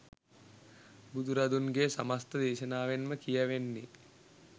බුදුරදුන්ගේ සමස්ත දේශනාවෙන්ම කියැවෙන්නේ